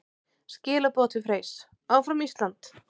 Skilaboð til Freys: Áfram Ísland!